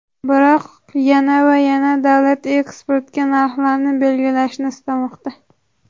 Biroq yana va yana davlat eksportga narxlarni belgilashni istamoqda.